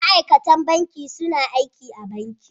Ma'aikatan banki suna aiki a banki.